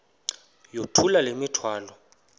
yithula le mithwalo